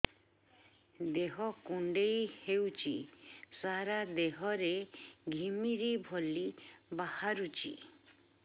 ଦେହ କୁଣ୍ଡେଇ ହେଉଛି ସାରା ଦେହ ରେ ଘିମିରି ଭଳି ବାହାରୁଛି